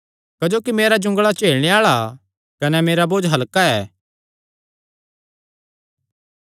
क्जोकि मेरा जुंगल़ा झेलणे आल़ा कने मेरा बोझ हल्का ऐ